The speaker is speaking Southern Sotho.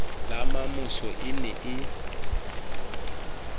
le mamosa e ne e